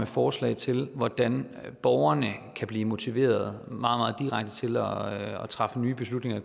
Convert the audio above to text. forslag til hvordan borgerne kan blive motiveret meget direkte til at træffe nye beslutninger